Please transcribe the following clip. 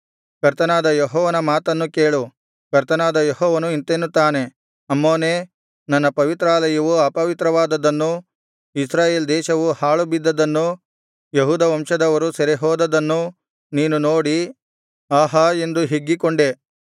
ಕರ್ತನಾದ ಯೆಹೋವನ ಮಾತನ್ನು ಕೇಳು ಕರ್ತನಾದ ಯೆಹೋವನು ಇಂತೆನ್ನುತ್ತಾನೆ ಅಮ್ಮೋನೇ ನನ್ನ ಪವಿತ್ರಾಲಯವು ಅಪವಿತ್ರವಾದದ್ದನ್ನು ಇಸ್ರಾಯೇಲ್ ದೇಶವು ಹಾಳುಬಿದ್ದದನ್ನು ಯೆಹೂದ ವಂಶದವರು ಸೆರೆಹೋದದ್ದನ್ನು ನೀನು ನೋಡಿ ಅಹಾ ಎಂದು ಹಿಗ್ಗಿಕೊಂಡೆ